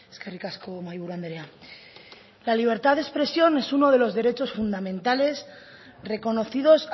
eskerrik asko mahiburu andrea la libertad de expresión es uno de los derechos fundamentales reconocidos